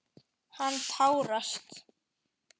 Hann tárast.